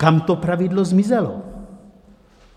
Kam to pravidlo zmizelo?